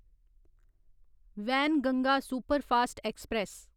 Wainganga Superfast express